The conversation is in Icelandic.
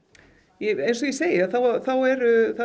eins og ég segi það er